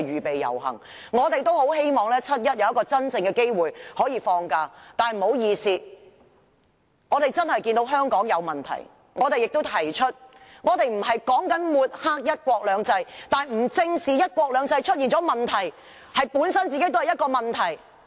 老實說，我們也很希望在7月1日有一個真正放假的機會，但不好意思，我們確實看到香港有問題，並且已經把這些問題提了出來；我們不是要抹黑"一國兩制"，但不正視"一國兩制"出了問題，這本身便是一個問題！